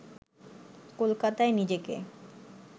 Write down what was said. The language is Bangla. কলকাতায় নিজেকে